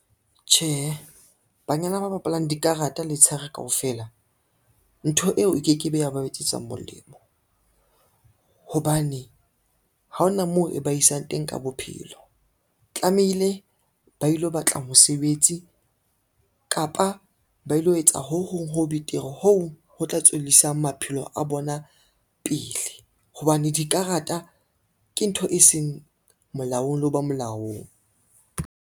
Tjhehe, banyana ba bapalang dikarata letshehare kaofela. Ntho eo e ke ke be ya ba etsetsa molemo, hobane ha ona moo e ba isang teng ka bophelo. Tlamehile ba ilo batla mosebetsi kapa ba ilo etsa ho hong ho betere hoo ho tla tswellisa maphelo a bona pele, hobane dikarata ke ntho e seng molaong leo ba molaong.